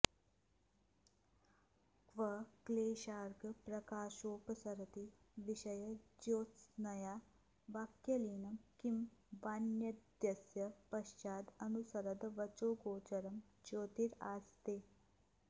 क्व क्लेशार्कप्रकाशोऽपसरति विषयज्योत्स्नया वाक्यलीनं किं वान्यद्यस्य पश्चादनुसरदवचोगोचरं ज्योतिरास्ते